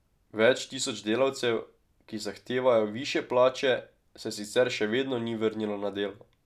Več tisoč delavcev, ki zahtevajo višje plače, se sicer še vedno ni vrnilo na delo.